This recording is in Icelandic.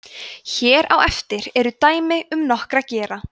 hér á eftir eru dæmi um nokkra gera